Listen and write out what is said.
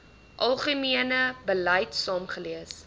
algemene beleid saamgelees